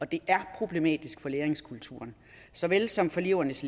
det er problematisk for læringskulturen såvel som for elevernes